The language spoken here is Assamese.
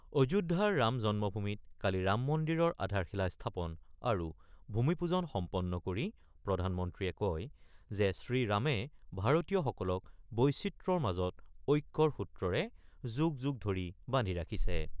অযোধ্যাৰ ৰাম জন্মভূমিত কালি ৰাম মন্দিৰৰ আধাৰশিলা স্থাপন আৰু ভূমিপূজন সম্পন্ন কৰি প্ৰধানমন্ত্ৰীয়ে কয় যে শ্ৰীৰামে ভাৰতীয়সকলক বৈচিত্ৰ্যৰ মাজত ঐক্যৰ সূত্ৰৰে যুগ যুগ ধৰি বান্ধি ৰাখিছে